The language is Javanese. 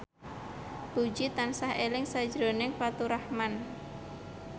Puji tansah eling sakjroning Faturrahman